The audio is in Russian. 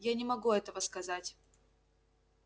я не могу этого сказать